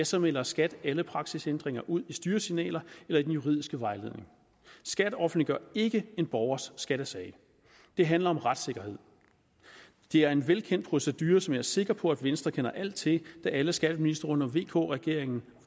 så melder skat alle praksisændringer ud i styresignaler eller i den juridiske vejledning skat offentliggør ikke en borgers skattesag det handler om retssikkerhed det er en velkendt procedure som jeg er sikker på venstre kender alt til da alle skatteministre under vk regeringen